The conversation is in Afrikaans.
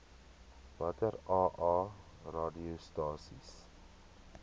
watter aa radiostasies